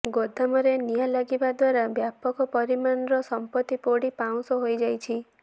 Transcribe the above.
ଗୋଦାମରେ ନିଆଁ ଲାଗିବା ଦ୍ୱାରା ବ୍ୟାପକ ପରିମାଣର ସମ୍ପତ୍ତି ପୋଡି ପାଉଁଶ ହୋଇଯାଇଛି